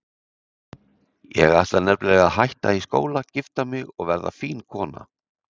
Ég ætla nefnilega að hætta í skóla, gifta mig og verða fín kona